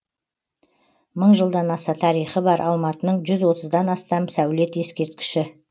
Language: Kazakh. мың жылдан аса тарихы бар алматының жүз отыздан астам сәулет ескерткіші